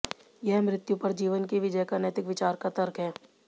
यह मृत्यु पर जीवन की विजय का नैतिक विचार का तर्क है